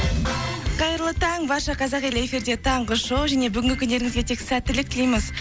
қайырлы таң барша қазақ елі эфирде таңғы шоу және бүгінгі күндеріңізге тек сәттілік тілейміз